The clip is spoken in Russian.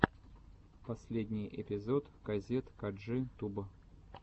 последний эпизод казет каджи туб